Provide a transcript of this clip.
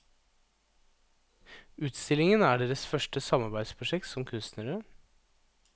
Utstillingen er deres første samarbeidsprosjekt som kunstnere.